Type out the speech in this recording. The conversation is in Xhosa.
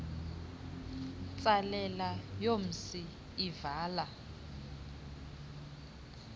ntsalela yomsi ivala